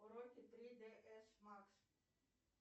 уроки три дэ эс макс